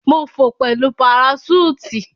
Mo fò pẹlu paraṣúùtì.